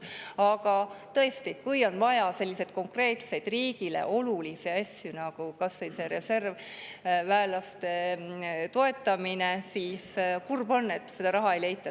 Aga tõesti, kui on vaja selliseid konkreetseid riigile olulisi asju nagu kas või reservväelaste toetamine, siis kurb on, et seda raha ei leita.